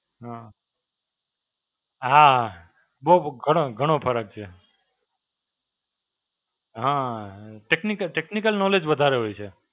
હાં, હાં, બહું ઘણો ઘણો ફરક છે. હાં Technical Technical Knowledge વધારે હોય છે.